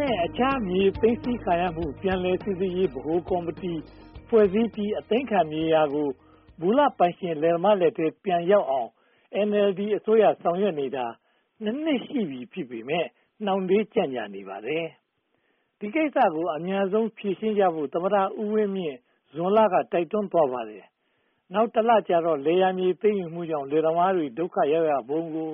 နဲ့ အခြားမြေသိမ်းဆည်းခံရမှု ပြန်လည်စီစစ်ရေး ဗဟိုကော်မတီဖွဲ့စည်းပြီး အသိမ်းခံမြေယာကို မူလပိုင်ရှင်လယ်သမားလက်ထဲ ပြန်ရောက်အောင် NLD အစိုးရ ဆောင်ရွက်နေတာ (၂) နှစ်ရှိပြီး ဖြစ်ပေမယ့် နှောင့်နှေးကြန့်ကြာနေပါတယ်။ ဒီကိစ္စကို အမြန်ဆုံးဖြေရှင်းကြဖို့ သမ္မတဦးဝင်းမြင့်က ဇွန်လတုန်းက တိုက်တွန်းသွားပါတယ်။ နောက်တလကြာတော့ လယ်ယာမြေသိမ်းယူမှုကြောင့် လယ်သမားတွေ ဒုက္ခရောက်ရပုံကို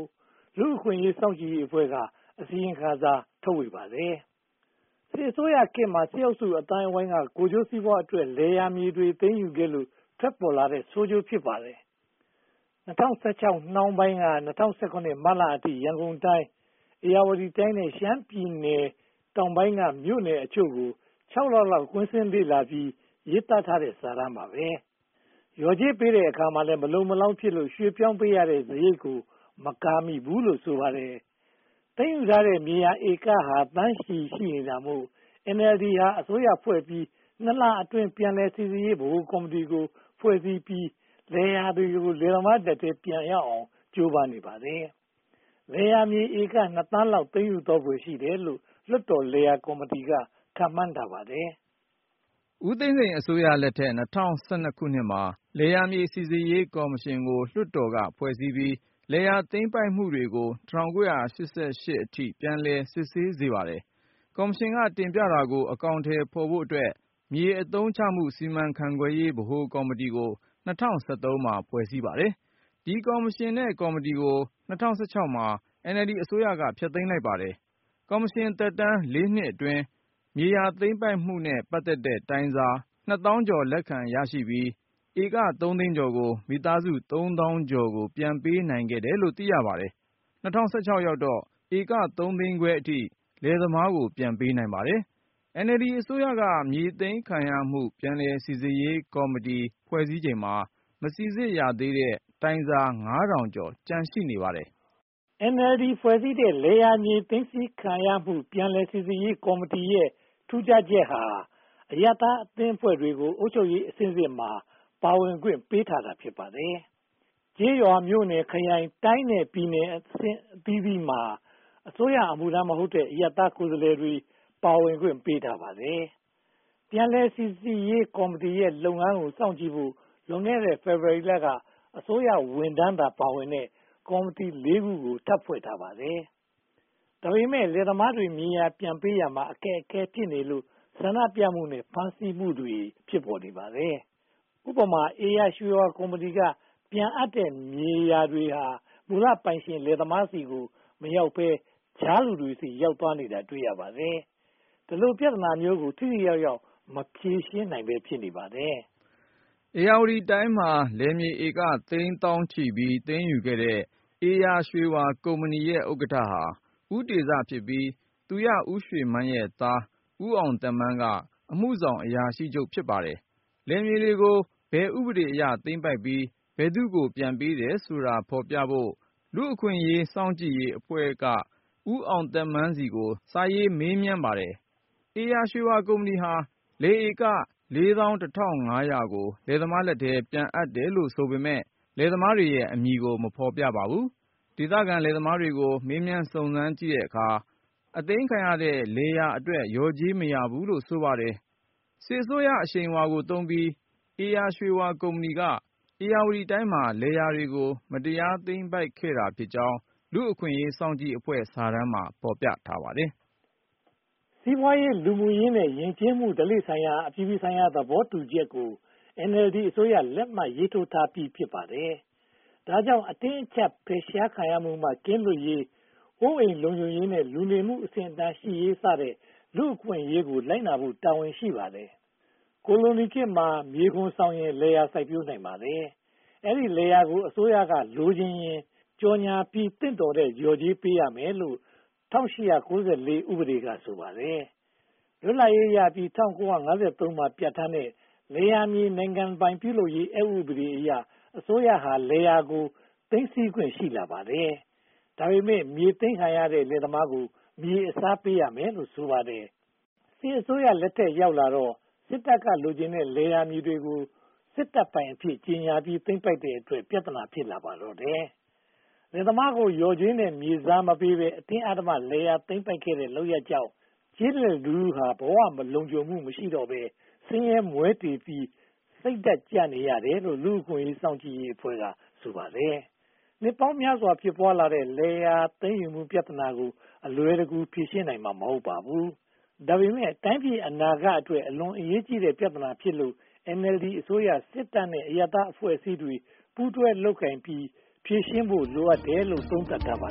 လူ့အခွင့်အရေးစောင့်ကြည့်ရေးအဖွဲ့က အစီရင်ခံစာ ထုတ်ဝေပါတယ်။ စစ်အစိုးရခေတ်မှာ စစ်အုပ်စုအသိုင်းအဝိုင်းက ကိုယ်ကျိုးစီးပွားအတွက် လယ်ယာမြေတွေ သိမ်းယူခဲ့လို့ ထွက်ပေါ်လာတဲ့ ဆိုးကျိုးဖြစ်ပါတယ်။ ၂၀၁၆ နှောင်းပိုင်းက ၂၀၁၇ မတ်လအထိ ရန်ကုန်တိုင်း၊ ဧရာဝတီတိုင်း နဲ့ ရှမ်းပြည်နယ်တောင်ပိုင်းက မြို့နယ်အချို့ကို (၆) လလောက် ကွင်းဆင်းလေ့လာပြီး ရေးသားထားတဲ့ စာတမ်းပါ။ လျော်ကြေးပေးတဲ့အခါမှာလည်း မလုံမလောက်ဖြစ်လို့ ရွှေ့ပြောင်းပေးရတဲ့စရိတ်ကို မကာမိဘူးလို့ ဆိုပါတယ်။ သိမ်းယူထားတဲ့ မြေယာဧကဟာ သန်းချီနေတာမို့ NLD အစိုးရဖွဲ့ပြီး နှစ်လအတွင်း ပြန်လည်စီစစ်ရေး ဗဟိုကော်မတီဖွဲ့စည်းပြီး လယ်သမားလက်ထဲ လယ်ယာမြေ ပြန်ရောက်အောင် ကြိုးပမ်းနေပါတယ်။ လယ်ယာမြေဧက နှစ်သန်းလောက် သိမ်းယူထားဖွယ် ရှိတယ်လို့ လွှတ်တော်လယ်ယာမြေကော်မတီက ခန့်မှန်းပါတယ်။ ဦးသိန်းစိန်အစိုးရလက်ထက် ၂၀၁၂ မှာ လယ်ယာမြေစီစစ်ရေး ကော်မရှင်ကို လွှတ်တော်က ဖွဲ့စည်းပြီး လယ်ယာသိမ်းပိုက်မှုတွေကို ၁၉၈၈ အထိ ပြန်လည်စစ်ဆေးစေပါတယ်။ ကော်မရှင် က တင်ပြတာကို အကောင်အထည်ဖော်ဖို့အတွက် မြေယာအသုံးချမှု စီမံခန့်ခွဲရေး ဗဟိုကော်မတီကို ၂၀၁၃ မှာ ဖွဲ့စည်းပါတယ်။ ဒီကော်မရှင်သက်တမ်း (၄) နှစ်အတွင်းမှာ မြေယာသိမ်းပိုက်မှုနဲ့ ပတ်သက်တဲ့တိုင်စာ နှစ်သောင်းကျော် လက်ခံရရှိခဲ့ပြီး ဧကသုံးသိန်းကျော်ကို မိသားစု သုံးသောင်ကျော်ကို ပြန်ပေးနိုင်ခဲ့တယ်လို့ သိရပါတယ်။ ၂၀၁၆ ရောက်တော့ ဧကသုံးသိန်းခွဲအထိ လယ်သမားတွေကို ပြန်ပေးနိုင်ပါတယ်။ NLD အစိုးရက မြေယာသိမ်းခံရမှု ပြန်လည်စီစစ်ရေးကော်မတီ ဖွဲ့စည်းချိန်မှာ မစီစစ်သေးရတဲ့ တိုင်စာ ငါးထောင်ကျော် ကျန်ရှိနေပါသေးတယ်။ NLD ဖွဲ့စည်းတဲ့ လယ်ယာနဲ့ မြေသိမ်းဆည်းခံရမှု ပြန်လည်စီစစ်ရေးကော်မတီရဲ့ ထူးခြားချက်ဟာ အရပ်သားအသင်းအဖွဲ့တွေကို အုပ်ချုပ်ရေးအဆင့်ဆင့်မှာ ပါဝင်ခွင့်ပေးထားတာ ဖြစ်ပါတယ်။ ကျေးရွာမြို့နယ်၊ ခရိုင်တိုင်းနဲ့ ပြည်နယ်အဆင့်ဆင့်မှာ အစိုးရအမှုထမ်းမဟုတ်တဲ့ အရပ်သားကိုယ်စားလှယ်တွေကို ပါဝင်ခွင့်ပေးထားပါတယ်။ ပြန်လည်စီစစ်ရေးကော်မတီရဲ့ လုပ်ငန်းတွေကို စောင့်ကြည့်ဖို့ လွန်ခဲ့တဲ့ ဖေဖေါ်ဝါရီလက အစိုးရဝန်ထမ်းသာပါဝင်တဲ့ ကော်မတီ (၄) ခု ထပ်ဖွဲ့ထားပါတယ်။ ဒါပေမဲ့ လယ်သမားတွေကို မြေယာပြန်ပေးရာမှာ အခက်အခဲဖြစ်နေလို့ ဆန္ဒပြမှုနဲ့ ဖမ်းဆီးမှုတွေ ဖြစ်ပေါ်နေပါတယ်။ ဥပမာ - ဧရာရွှေဝါကုမ္ပဏီက ပြန်အပ်တဲ့ မြေတွေဟာ မူလပိုင်ရှင် လယ်သမားတွေဆီမရောက်ဘဲ ကြားလူတွေဆီ ရောက်နေတာကို တွေ့ရှိရပါတယ်။ ဒီလိုပြဿနာမျိုးကို ထိထိရောက်ရောက် မဖြေရှင်းနိုင်ဘဲ ဖြစ်နေပါတယ်။ ဧရာဝတီတိုင်းမှာ လယ်မြေဧက သိန်းသောင်းချီပြီး သိမ်းယူခဲ့တဲ့ ဧရာရွှေဝါကုမ္ပဏီရဲ့ ဥက္ကဋ္ဌဟာ ဦးတေဇဖြစ်ပြီး၊ သူရရွှေမန်းရဲ့သား ဦးအောင်သက်မန်းက အမှုဆောင်အရာရှိချုပ် ဖြစ်ပါတယ်။ လယ်မြေတွေကို ဘယ်ဥပဒေအရ သိမ်းပိုက်ပြီး ဘယ်သူကို ပြန်ပေးတယ်ဆိုတာကို ဖော်ပြဖို့ လူ့အခွင့်အရေး စောင့်ကြည့်ရေးအဖွဲ့က ဦးအောင်သက်မန်းဆီကို စာရေးမေးမြန်းပါတယ်။ ဧရာရွှေဝါကုမ္ပဏီဟာ လယ်ဧက (၄၁,၅၀၀) ကို လယ်သမားထက်ထဲ ပြန်အပ်တယ်လို့ ဆိုပေမယ့် လယ်သမားတွေရဲ့အမည်ကို မဖော်ပြပါဘူး။ ဒေသခံလယ်သမားတွေကို မေးမြန်းစုံစမ်းတဲ့အခါမှာ အသိမ်းခံရတဲ့ လယ်ယာတွေအတွက် လျော်ကြေးမရဘူးလို့ ဆိုပါတယ်။ စစ်အစိုးရအရှိန်အဝါကိုသုံးပြီး ဧရာရွှေဝါကုမ္ပဏီက ဧရာဝတီတိုင်းမှာ လယ်ယာတွေကို မတရားသိမ်းပိုက်ခဲ့တာဖြစ်ကြောင်း လူ့အခွင့်အရေးစောင့်ကြည့်ရေးအဖွဲ့ စာတမ်းမှာ ဖော်ပြပါတယ်။ စီးပွားရေး၊ လူမှုရေး နဲ့ ယဉ်ကျေးမှု ဓလေ့ဆိုင်ရာ အပြည်ပြည်ဆိုင်ရာ သဘောတူညီချက်ကို NLD အစိုးရ လက်မှတ်ရေးထိုးထားပြီး ဖြစ်ပါတယ်။ ဒါကြောင့် အတင်းအကျပ် ဖယ်ရှားမှုမှ ကင်းလွတ်ရေး၊ အိုးအိမ်လုံခြုံရေး နဲ့ လူနေမှုအဆင့်အတန်းရှိရေး စတဲ့ လူ့အခွင့်အရေးကို လိုက်နာဖို့ တာဝန်ရှိပါတယ်။ ကိုလိုနီခေတ်မှာ မြေခွန်ဆောင်ရင် လယ်ယာစိုက်ပျိုးနိုင်ပါတယ်။ အဲဒီလယ်ယာကို အစိုးရက လိုချင်ရင် ကြော်ညာပြီး သင့်တော်တဲ့ လျှော်ကြေးပေးရမယ်လို့ (၁၈၉၄) ဥပဒေက ဆိုပါတယ်။ လွတ်လပ်ရေးရပြီး ၁၉၅၃ မှာ ပြဌာန်းတဲ့ လယ်ယာမြေ နိုင်ငံပိုင် ပြုလုပ်ရေးအက်ဥပဒေအရ အစိုးရဟာ လယ်ယာကို သိမ်းဆည်းနိုင်ခွင့် ရှိလာပါတယ်။ ဒါပေမဲ့ မြေသိမ်းခံရတဲ့ လယ်သမားကို လယ်မြေအစားပေးရမယ်လို့ ဆိုပါတယ်။ စစ်အစိုးရလက်ထက်ရောက်တော့ စစ်တပ်က လိုချင်တဲ့ လယ်ယာမြေကို စစ်တပ်ပိုင်အဖြစ် ကြေညာပြီး သိမ်းပိုက်တဲ့အတွက် ပြဿနာ ဖြစ်ပါတော့တယ်။ လယ်သမားကို လျှော်ကြေးနဲ့ မြေစားမပေးဘဲ အတင်းအဓမ္မ လယ်ယာသိမ်းပိုက်ခဲ့တဲ့ လုပ်ရပ်ကြောင့် ကျေးလက်လူထုဟာ ဘဝလုံခြုံမှု မရှိတော့ဘဲ ဆင်းရဲမွဲတေပြီး စိတ်ဓါတ်ကျနေကြတယ်လို့ လူ့အခွင့်အရေးစောင့်ကြည့်ရေးအဖွဲ့က ဆိုပါတယ်။ နှစ်ပေါင်းများစွာ ဖြစ်ပွားလာခဲ့တဲ့ လယ်ယာသိမ်းယူမှု ပြဿနာကို အလွယ်တကူ ဖြေရှင်းနိုင်မှာ မဟုတ်ပါဘူး။ ဒါပေမဲ့ တိုင်းပြည်အနာဂတ်အတွက် အလွန်အရေးကြီးတဲ့ ပြဿနာဖြစ်လို့ NLD အစိုးရ၊ စစ်တပ်နဲ့ အရပ်သားအဖွဲ့အစည်းတွေ ပူးတွဲလုပ်ကိုင်ပြီး ဖြေရှင်းဖို့လိုတယ်လို့ သုံးသပ်ထားပါ